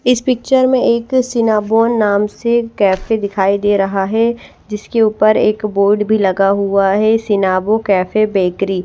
इस पिचचर में एक सीनाबो नाम से कैफ़े दिखाई दे रहा है जिसके ऊपर एक बोर्ड भी लगा हुआ है सीनाबो कैफ़े बेकरी --